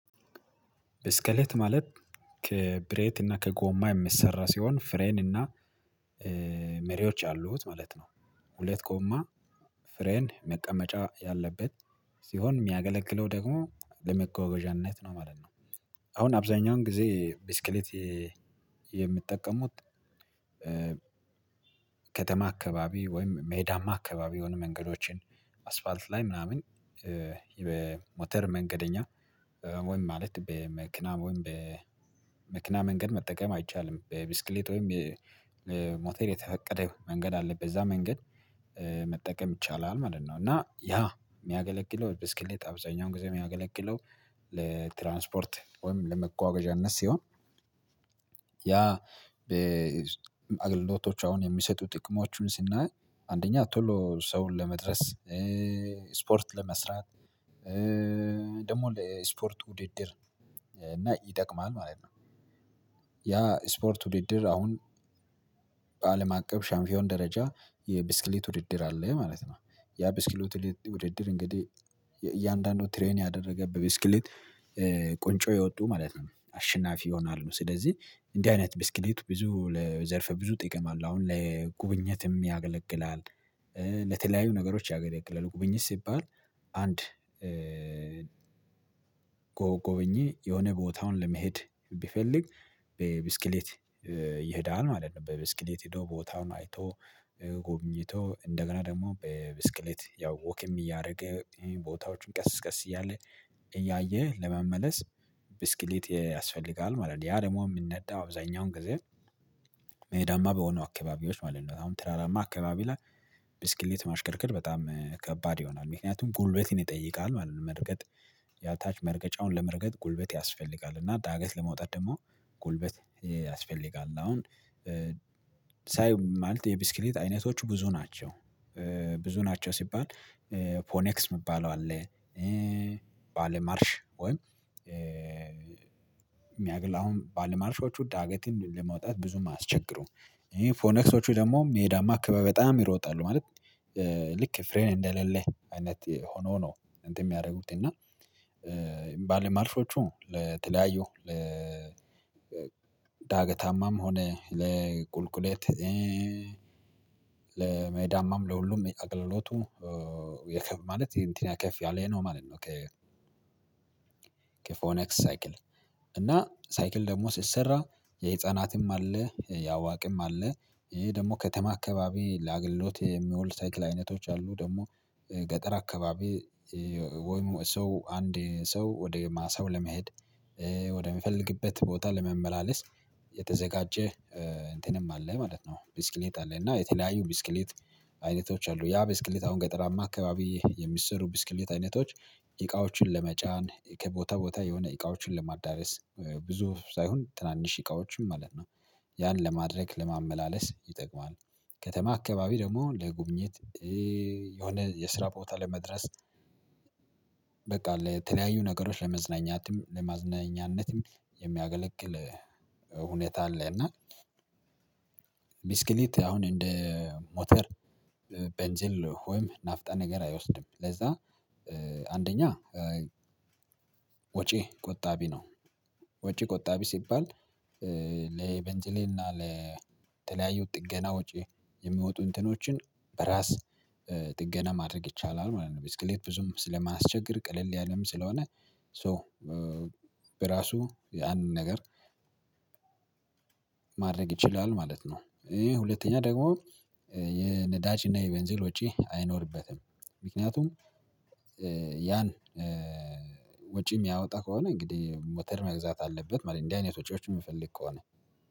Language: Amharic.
በስኬት ማለት ከብሬት እና ከጎማ የሚሰራ ሲሆን ፍሬን እና መሪዎች አሉት ማለት ነው። ሁለት ኮማ ፍሬን መቀመጫ ያለበት ሲሆን የሚያገለግለው ደግሞ ለመገዋገዣነት ነው ማለት ነው። አሁን አብዛኛውን ጊዜ ብስክሌት የምትጠቀሙት ከተማ አካባቢ ወይም ሜዳማ አካባቢ የሆኑ መንገዶችን አስፋልት ላይ ምናምን በሞተር መንገደኛ ወይም ማለት በመክናብ ወይም በመኪና መንገድ መጠቀም አይቻልም በብስክሌት ወይም ሞተር የተፈቀደ መንገድ አለበት በዛ መንገድ መጠቀም ይቻላል ማለት ነው። እና ያ የሚያገለግለው ብስክሌት አብዛኛውን ጊዜ የሚያገለግለው ለትራንስፖርት ወይም ለመጓጓዣ እነሱ ሲሆን። ያ አገልግሎቶች አሁን የሚሰጡ ጥቅሞችን ስናይ አንደኛ ቶሎ ሰውን ለመድረስ ስፖርት ለመስራት ደግሞ ስፖርት ውድድር እና ይጠቅማል ማለት ነው። ያ ስፖርት ውድድር አሁን በአለም አቀፍ ሻምፒዮን ደረጃ የብስክሌት ውድድር አለ ማለት ነው። ያ ብስክሌት ውድድር እንግዲህ እያንዳንዱ ትሬን ያደረገበት ብስክሌት ቁንጮ የወጡ ማለት ነው አሸናፊ ይሆናሉ ስለዚህ እንዲህ አይነት ብስክሌቱ ብዙ ለዘርፈ ብዙ ጥቅም አለው። አሁን ለጉብኝነትም ያገለግላል። ለተለያዩ ነገሮች ያገለገለ ቁብኝት ሲባል አንድ ጎብኚ የሆነ ቦታውን ለመሄድ ቢፈልግ በብስክሌት ይሄዳል ማለት ነው። በብስክሌት ሄዶ ቦታውን አይቶ ጎብኝቶ እንደገና ደግሞ በብስክሌት ያው ወክም እያደረገ ቦታዎችን ቀስ በቀስ እያለ እያየ ለመመለስ ብስክሌት ያስፈልጋል ማለት ነው። ያ ደግሞ የምንነዳ አብዛኛውን ጊዜ ሜዳማ በሆኑ አካባቢዎች ማለት ነው። አሁን ትራራማ አካባቢ ላይ ብስክሌት ማሽከርክር በጣም ከባድ ይሆናል ምክንያቱም ጉልበት ይጠይቃል ማለት ነው። መርገጥ የታች መርገጫውን ለመርገጥ ጉልበት ያስፈልጋል እና ዳገት ለመውጣት ደግሞ ጉልበት ያስፈልጋል። አሁን ሳይ ማለት የብስክሌት አይነቶች ብዙ ናቸው። ብዙ ናቸው ሲባል ፖኔክስ የሚባለው አለ። ባለማርሽ ወይም የሚያግል አሁን ባለማርሾቹ ዳገትን ለመውጣት ብዙም አስቸግሩ ፎኔክሶቹ ደግሞ ሜዳማ ክበበ በጣም ይሮጣሉ ማለት ልክ ፍሬን እንደሌለህ አይነት ሆኖ ነው። እንትን የሚያደርጉት እና የሚባል ማልሾቹ ለተለያዩ ለዳገታማም ሆነ ለቁልቁሌት ለ ለመዳማም ለሁሉም አቅልሎቱ የከፍ ማለት እንትን ያከፍ ያለነው ማለት ነው። ከ ከፎነክስ ሳይክል እና ሳይክል ደግሞ ስትሰራ የህፃናትም አለ የአዋቂም አለ። ይሄ ደግሞ ከተማ አካባቢ ለአገልሎት የሚውል ሳይክል አይነቶች አሉ። ደግሞ ገጠር አካባቢ ወይም ሰው አንዴ ሰው ወደ ሰው ለመሄድ ቦታ ለመመላለስ የተዘጋጀ እንትንም አለ ማለት ነው። ቢስክሌት አለ እና የተለያዩ ብስክሌት አይነቶች አሉ። ያ ብስክሌት አሁን ገጠራማ አካባቢ የሚሰሩ ብስክሌት አይነቶች እቃዎችን ለመጫን ከቦታ ቦታ የሆነ እቃዎችን ለማዳረስ ብዙ ሳይሆን ትናንሽ እቃዎችን ማለት ነው። ያን ለማድረግ ለማመላለስ ይጠቅማል። ከተማ አካባቢ ደግሞ ለጉብኝት የሆነ የስራ ቦታ ለመድረስ በቃ ለተለያዩ ነገሮች ለመዝናኛትም ለመዝናኛነትም የሚያገለግል ሁኔታ አለ። እና ሚስክሊት አሁን እንደ ሞተር በንጀል ሆይም ናፍጣ ነገር አይወስድም ለዛ አንደኛ ወጪ ቆጣቢ ነው። ወጪ ቆጣቢ ሲባል ለበንጭሌና ለተለያዩ ጥገና ወጪ የሚወጡ እንትኖችን በራስ ጥገና ማድረግ ይቻላል ማለት ነው። ብዙም ስለማስቸግር ቅልል ያለም ስለሆነ ሶ በራሱ ያንን ነገር ማድረግ ይችላል ማለት ነው። ይሄ ሁለተኛ ደግሞ የነዳችና የቤንዚል ውጪ አይኖርበትም። ምክንያቱም ያን ወጪ የሚያወጣ ከሆነ እንግዲህ ሞተር መግዛት አለበት ማለት እንዲህ አይነት ወጪዎች የምፈልግ ከሆነ